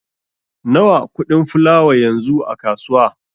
Nawa kuɗin fulawa yanzu a kasuwa?